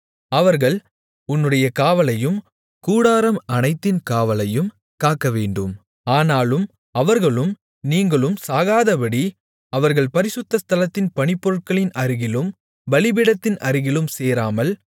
அவர்கள் உன்னுடைய காவலையும் கூடாரம் அனைத்தின் காவலையும் காக்கவேண்டும் ஆனாலும் அவர்களும் நீங்களும் சாகாதபடி அவர்கள் பரிசுத்த ஸ்தலத்தின் பணிப்பொருட்களின் அருகிலும் பலிபீடத்தின் அருகிலும் சேராமல்